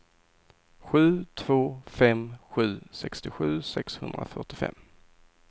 sju två fem sju sextiosju sexhundrafyrtiofem